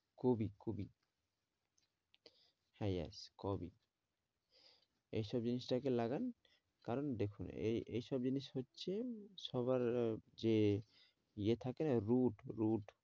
কুবি কুবি হ্যাঁ yes কবি এইসব জিনিসটাকে লাগান কারণ দেখুন এই এইসব জিনিস হচ্ছে সবার আহ যে ইয়ে থাকে না root root